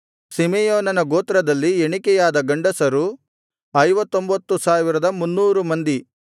ಸಿಮೆಯೋನನ ಗೋತ್ರದಲ್ಲಿ ಎಣಿಕೆಯಾದ ಗಂಡಸರು 59300 ಮಂದಿ